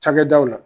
Cakɛdaw la